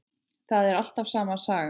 Það er alltaf sama sagan.